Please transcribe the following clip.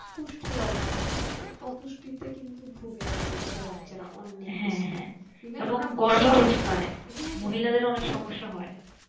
হ্যাঁ অপুষ্টিতে কিন্তু ভুগে আমাদের বাছা রা অনেক